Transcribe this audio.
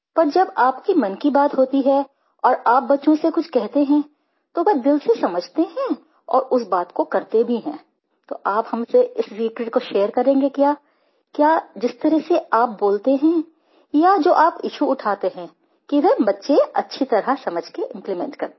पर जब आपके मन की बात होती है और आप बच्चों से कुछ कहते हैं तो वे दिल से समझते हैं और उस बात को करते भी हैं तो आप हमसे इस सीक्रेट को शेयर करेंगे क्या क्या जिस तरह से आप बोलते हैं या जो आप इश्यू उठाते हैं कि वे बच्चे अच्छी तरह समझ के इम्प्लीमेंट करते हैं